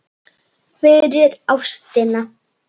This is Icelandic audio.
fyrir ástina